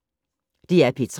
DR P3